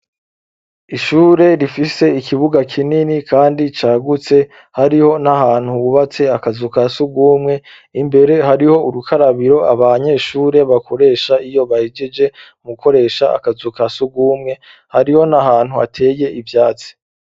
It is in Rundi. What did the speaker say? Ishure rifise ikibuga kinini kandi cagutse hariho n'ahantu hubatse akazu ka sugumwe, imbere hariho urukarabiro abanyeshure bakoresha iyo bahejeje mu koresha akazu ka sugumwe, hariho n'ahantu hateye ivyatsi.